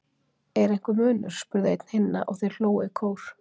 Er einhver munur? spurði einn hinna og þeir hlógu í kór.